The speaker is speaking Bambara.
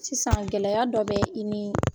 Sisan gɛlɛya dɔ bɛ i ni